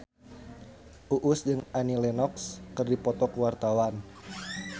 Uus jeung Annie Lenox keur dipoto ku wartawan